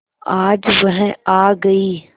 आज वह आ गई